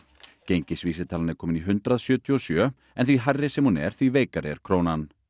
gengisvísitalan er komin í hundrað sjötíu og sjö en því hærri sem hún er því veikari er krónan